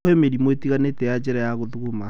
Kwĩ mĩrimũ ĩtiganĩte ya njĩra ya gũthuguma